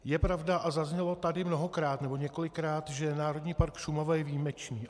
Je pravda, a zaznělo tady mnohokrát, nebo několikrát, že Národní park Šumava je výjimečný.